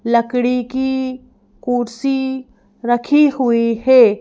लकड़ी की कुर्सी रखी हुई है।